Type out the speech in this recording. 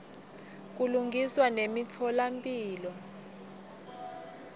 kulungiswa nemitfola mphilo